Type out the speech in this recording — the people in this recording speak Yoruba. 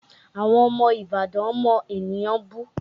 Àwọn ọmọ Ìbàdàn mọ ènìyàn bú